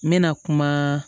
N bɛna kuma